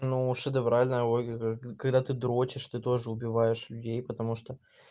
ну шедевральная оргия когда ты дрочиш ты тоже убиваешь людей потому что